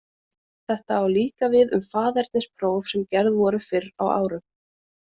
Þetta á líka við um faðernispróf sem gerð voru fyrr á árum.